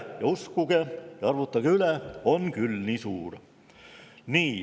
Nii et uskuge või arvutage üle, aga on küll nii suur.